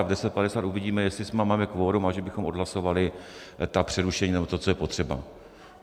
A v 10.50 uvidíme, jestli máme kvorum, a že bychom odhlasovali ta přerušení, nebo to, co je potřeba.